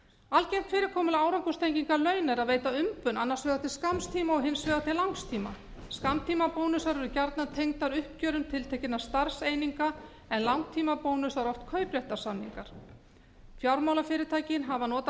algengt fyrirkomulag árangurstengingar launa er að veita umbun annars vegar til skamms tíma og hins vegar til langs tíma skammtímabónusar eru gjarnan tengdir uppgjörum tiltekinna starfseininga en langtímabónusar oft kaupréttarsamningar fjármálafyrirtæki hafa notað hvatakerfa